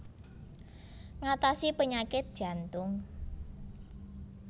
Ngatasi penyakit jantung